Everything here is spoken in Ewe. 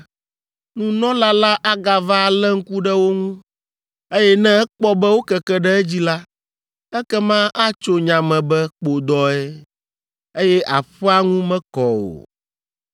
nunɔla la agava alé ŋku ɖe wo ŋu, eye ne ekpɔ be wokeke ɖe edzi la, ekema atso nya me be kpodɔe, eye aƒea ŋu mekɔ o.